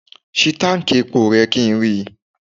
Ṣí táǹkì epo rẹ kí n rí i.